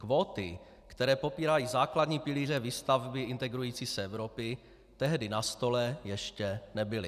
Kvóty, které popírají základní pilíře výstavby integrující se Evropy, tehdy na stole ještě nebyly.